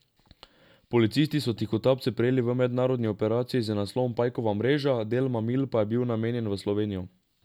Policisti so tihotapce prijeli v mednarodni operaciji z naslovom Pajkova mreža, del mamil pa je bil namenjen v Slovenijo.